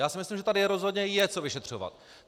Já si myslím, že tady rozhodně je co vyšetřovat!